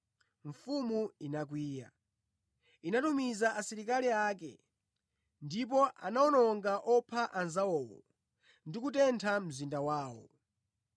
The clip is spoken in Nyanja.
Mfumu inakwiya. Inatumiza asilikali ake ndipo anawononga opha anzawowo ndi kutentha mzinda wawo.